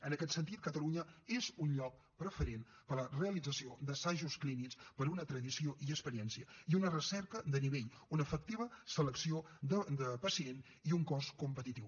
en aquest sentit catalunya és un lloc preferent per a la realització d’assajos clínics per una tradició i experiència i una recerca de nivell una efectiva selecció de pacient i un cost competitiu